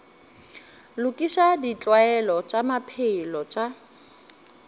lokiša ditlwaelo tša maphelo tša